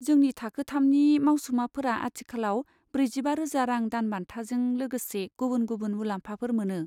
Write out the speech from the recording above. जोंनि थाखो थामनि मावसुमाफोरा आथिखालाव ब्रैजिबा रोजा रां दानबान्थाजों लोगोसे गुबुन गुबुन मुलाम्फाफोर मोनो।